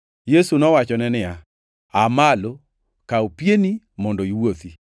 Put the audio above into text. Yesu nowachone niya, “Aa malo! Kaw pieni mondo iwuothi.”